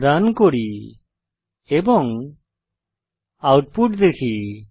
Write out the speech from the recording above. run করি এবং output দেখি